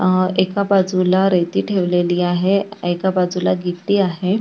अ एका बाजूला रेती ठेवलेली आहे एका बाजूला गिट्टी आहे.